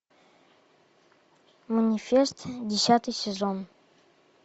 манифест десятый сезон